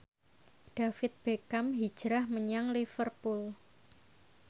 David Beckham hijrah menyang Liverpool